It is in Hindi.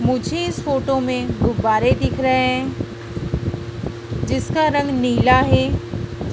मुझे इस फोटो में गुब्बारे दिख रहे हैं जिसका रंग नीला है।